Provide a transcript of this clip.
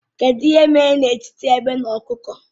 Kedụ ihe mere n'etiti egbe na ọkụkọ?